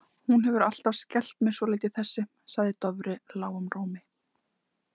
Hún hefur alltaf skelft mig svolítið þessi, sagði Dofri lágum rómi.